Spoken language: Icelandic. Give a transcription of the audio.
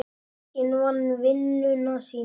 Enginn vann vinnuna sína.